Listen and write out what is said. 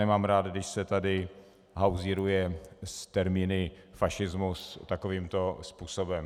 Nemám rád, když se tady hauzíruje s termíny fašismus takovýmto způsobem.